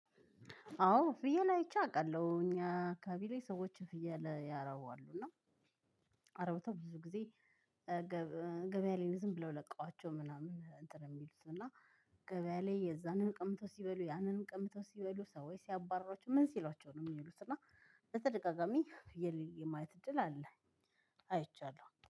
አዎ ፍየል አይቼ አውቃለሁ እኛ አካቢ ላይ ሰዎች ፍየል ያረባሉ እና አርበተው ብዙ ጊዜ ገበያ ላይ ዝም ብለው ለቃዋቸው ምናምን እንት የሚሉት እና ገበያ ላይ የዛንን ቀምተው ሲበሉ ያንንም ቀምተው ሲበሉ ሰዎች ሲያባርሯቸው ምን ሲሏቸው ነው የሚሉት እና በተደጋጋሚ ፍየል የማየት እድል አለ። አይቻለሁ